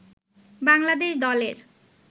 বাংলাদেশ দলের